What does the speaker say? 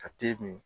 Ka te min